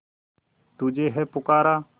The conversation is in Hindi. तुझे है पुकारा